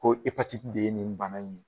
Ko de ye nin bana in ye